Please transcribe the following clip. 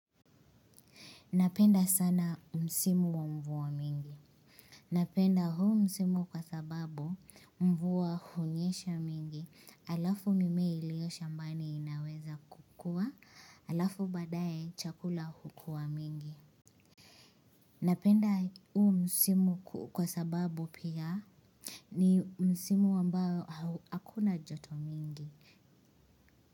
Napenda sana msimu wa mvua mingi. Napenda huu msimu kwa sababu mvua hunyesha mingi. Alafu mimea iliyoshambani inaweza kukua, alafu baadaye chakula hukua mingi. Napenda huu msimu kwa sababu pia ni msimu ambao hakuna joto mingi.